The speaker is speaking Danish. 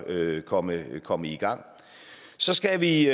komme komme i gang så skal vi